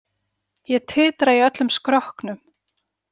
Ég titra í öllum skrokknum.